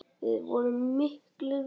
Við vorum miklir vinir.